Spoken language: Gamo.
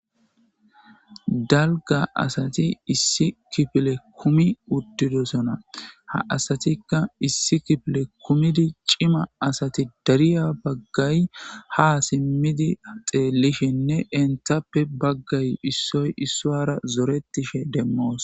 Dalga asatti issi kifilen kumi uttidossona ha asatikka cima asati darriya bagay ha simidi xelishenne issoy issara zoretishe de77osona.